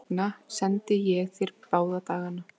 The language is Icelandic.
Þess vegna sendi ég þér báða dagana.